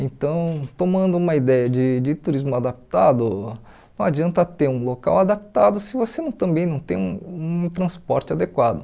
Então, tomando uma ideia de de turismo adaptado, não adianta ter um local adaptado se você não também não tem um um transporte adequado.